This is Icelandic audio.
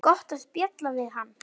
Gott að spjalla við hann.